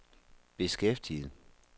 beskæftiget